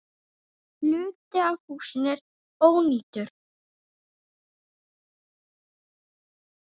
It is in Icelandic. Hluti af húsinu er ónýtur.